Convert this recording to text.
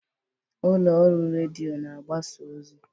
Ụlọ ọrụ redio na-agbasa ozi.